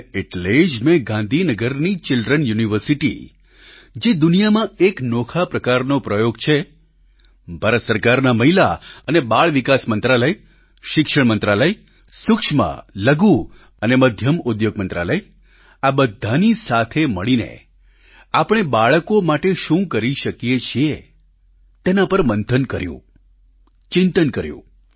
અને એટલે જ મેં ગાંધીનગરની ચિલ્ડ્ર્ન યુનિવર્સિટી જે દુનિયામાં એક નોખા પ્રકારનો પ્રયોગ છે ભારત સરકારના મહિલા અને બાળ વિકાસ મંત્રાલય શિક્ષણ મંત્રાલય સૂક્ષ્મલઘુ અને મધ્યમ ઉદ્યોગ મંત્રાલય આ બધાની સાથે મળીને આપણે બાળકો માટે શું કરી શકીએ છીએ તેના પર મંથન કર્યું ચિંતન કર્યું